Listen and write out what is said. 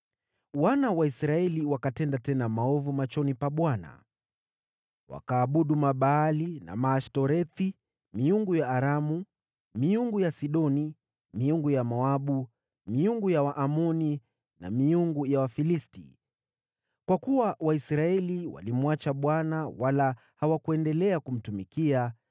Wana wa Israeli wakatenda tena maovu machoni pa Bwana . Wakaabudu Mabaali na Maashtorethi, miungu ya Aramu, miungu ya Sidoni, miungu ya Moabu, miungu ya Waamoni na miungu ya Wafilisti. Kwa kuwa Waisraeli walimwacha Bwana wala hawakuendelea kumtumikia,